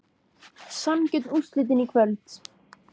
Sanngjörn úrslitin í kvöld?